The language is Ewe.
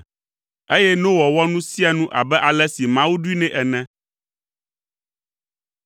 Eye Noa wɔ nu sia nu abe ale si Mawu ɖoe nɛ ene.